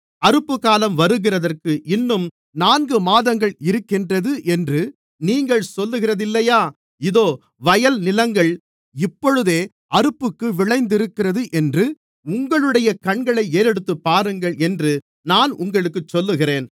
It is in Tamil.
அறுப்புக்காலம் வருகிறதற்கு இன்னும் நான்கு மாதங்கள் இருக்கின்றது என்று நீங்கள் சொல்லுகிறதில்லையா இதோ வயல் நிலங்கள் இப்பொழுதே அறுப்புக்கு விளைந்திருக்கிறது என்று உங்களுடைய கண்களை ஏறெடுத்துப்பாருங்கள் என்று நான் உங்களுக்குச் சொல்லுகிறேன்